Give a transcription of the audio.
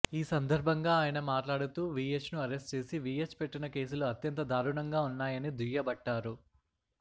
ఈ సందర్భంగా ఆయన మాట్లాడుతూ వీహెచ్ను అరెస్ట్ చేసి విహెచ్ పెట్టిన కేసులు అత్యంత దారుణంగా ఉన్నాయని దుయ్యబట్టారు